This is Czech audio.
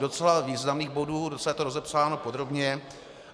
Docela významných bodů, docela je to rozepsáno podrobně.